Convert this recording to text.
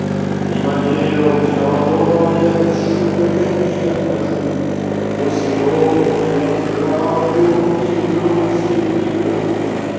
мимо белкина дома я без шуток не хожу то серёгу и отправлю или крупском пригожусь